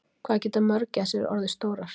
Hvað geta mörgæsir orðið stórar?